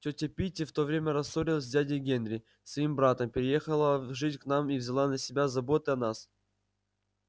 тётя питти в то время рассорилась с дядей генри своим братом переехала жить к нам и взяла на себя заботы о нас